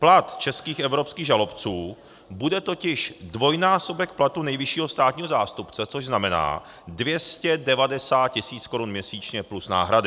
Plat českých evropských žalobců bude totiž dvojnásobek platu nejvyššího státního zástupce, což znamená 290 tisíc korun měsíčně plus náhrady.